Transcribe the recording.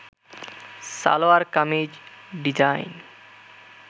salwar kameez design